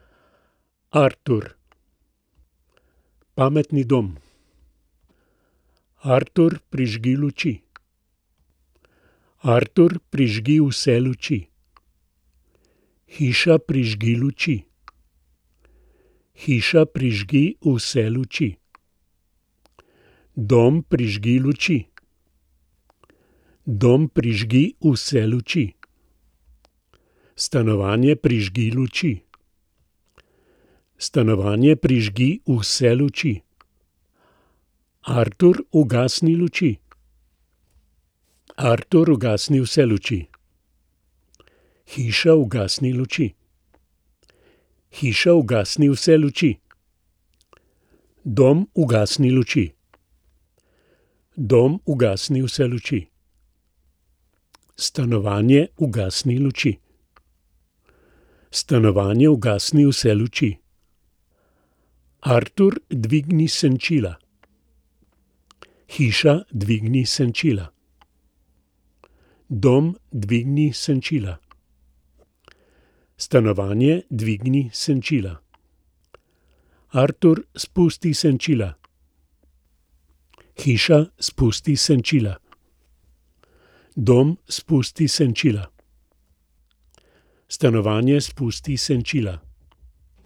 Artur. Pametni dom. Artur, prižgi luči. Artur, prižgi vse luči. Hiša, prižgi luči. Hiša, prižgi vse luči. Dom, prižgi luči. Dom, prižgi vse luči. Stanovanje, prižgi luči. Stanovanje, prižgi vse luči. Artur, ugasni luči. Artur, ugasni vse luči. Hiša, ugasni luči. Hiša, ugasni vse luči. Dom, ugasni luči. Dom, ugasni vse luči. Stanovanje, ugasni luči. Stanovanje, ugasni vse luči. Artur, dvigni senčila. Hiša, dvigni senčila. Dom, dvigni senčila. Stanovanje, dvigni senčila. Artur, spusti senčila. Hiša, spusti senčila. Dom, spusti senčila. Stanovanje, spusti senčila.